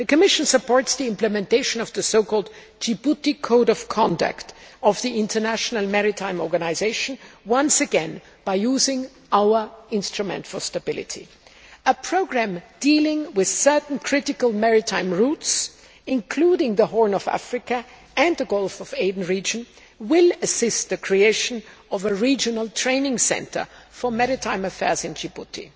The Commission supports the implementation of the so called Djibouti Code of Conduct of the International Maritime Organisation, once again by using our instrument for stability. A programme dealing with certain critical maritime routes, including the Horn of Africa and the Gulf of Aden region, will assist the creation of a regional training centre for maritime affairs in Djibouti.